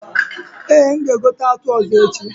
Eh, m ga egote atụ ọzọ echi